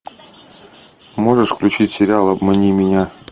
можешь включить сериал обмани меня